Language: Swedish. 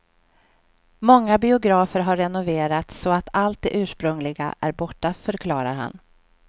Många biografer har renoverats så att allt det ursprungliga är borta, förklarar han.